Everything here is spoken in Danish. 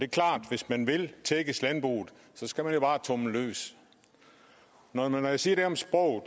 klart at hvis man vil tækkes landbruget skal man jo bare tumle løs når jeg siger det om sproget